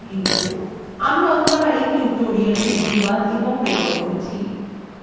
আমি অন্তরা এই tutorialটি অনুবাদ এবং রেকর্ড করেছি এই tutorialএ অংশগ্রহন করার জন্য ধন্যবাদ শুভবিদায়